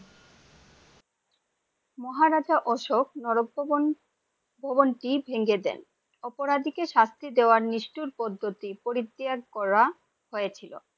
মহারাজ অশোক বন ভবন টি ভেঙ্গে দেন, অপরাধী কে শাস্তি দেবার নিষ্ঠুর পদ্ধতি পরিত্যাগ করা হয়েছিলো ।